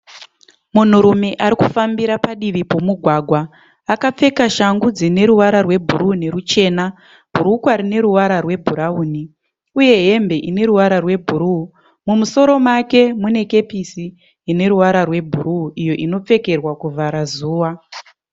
Munhurume arikufambira padivi pomugwagwa. Akapfeka shangu dzineruvara rwebhuruu nerwuchena, bhurukwa rineruvara rwebhurauni uye hembe ineruvara rwebhuruu. Mumusoro make munekepisi rineruvara rwebhuruu iyo inopfekerwa kuvhara zuva.